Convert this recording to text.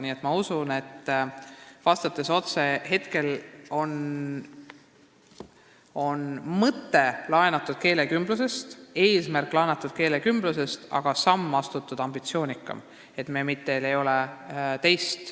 Nii et vastuseks teile, et mõte on laenatud keelekümblusest, eesmärk on laenatud keelekümblusest, aga astutud on ambitsioonikam samm.